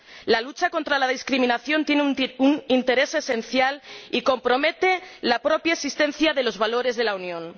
La lucha contra la discriminación tiene un interés esencial y compromete la propia existencia de los valores de la Unión.